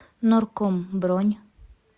норком бронь